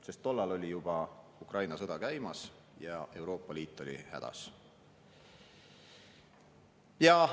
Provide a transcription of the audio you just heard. Sest tol ajal oli juba Ukraina sõda käimas ja Euroopa Liit oli hädas.